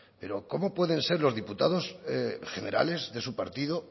pero cómo pueden ser los diputados generales de su partido